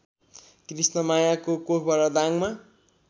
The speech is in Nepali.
कृष्णमायाको कोखबाट दाङमा